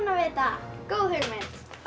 vita góð hugmynd